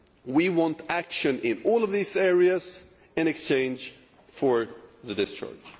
We want action in all of these areas in exchange for discharge.